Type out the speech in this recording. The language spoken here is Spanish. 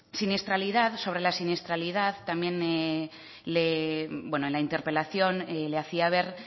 siniestralidad sobre la siniestralidad en la interpelación le hacía ver